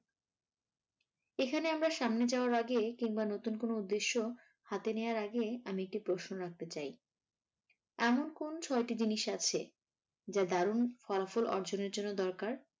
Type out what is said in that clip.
এখানে আমরা সামনে যাওয়ার আগে কিংবা নতুন কোনো উদ্দেশ্য হাতে নেওয়ার আগে আমি একটি প্রশ্ন রাখতে চাই, এমন কোন ছয়টি জিনিস আছে যা দারুন ফলাফল অর্জনের জন্য দরকার?